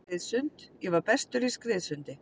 Synti skriðsund ég var bestur í skriðsundi.